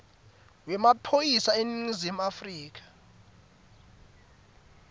wemaphoyisa eningizimu afrika